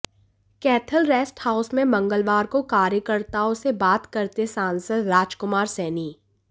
Kaithal rest house में मंगलवार को कार्यकर्ताओं से बात करते सांसद राजकुमार सैनी